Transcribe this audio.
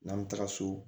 N'an bɛ taga so